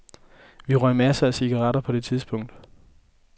Vi røg masser af cigaretter på det tidspunkt.